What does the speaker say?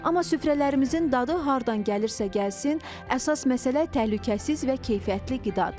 Amma süfrələrimizin dadı hardan gəlirsə gəlsin, əsas məsələ təhlükəsiz və keyfiyyətli qidadır.